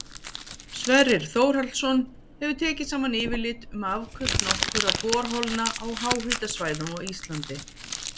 Sverrir Þórhallsson hefur tekið saman yfirlit um afköst nokkurra borholna á háhitasvæðum á Íslandi.